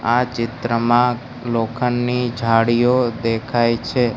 આ ચિત્રમાં લોખંડની જાળીઓ દેખાય છે.